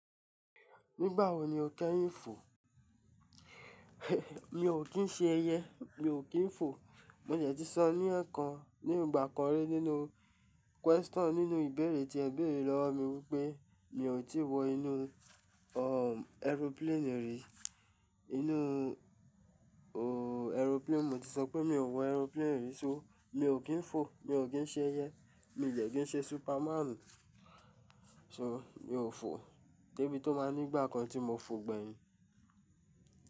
Nígbà wo ni o kẹ́yin fò? Mi ò kín ṣe ẹyẹ, mi ò kín fò. Mo de tí sọ ní ẹ̀kan ní ìgbà kan rí nínú question nínú ìbẹ̀rẹ̀ tí ẹ béèrè lọ́ mi wípé mi ò tí wọ inú aeroplane rí. Inú aeroplane, mo ti sọ pé mi ò wọ aeroplane rí, ṣó mi ò kín fò, mi ò kín ṣe ẹyẹ, mi ò de kín ṣe superman. Ṣó mi ò fò. Débi tó ma ní ìgbà kan tí mo fò gbẹ̀yin.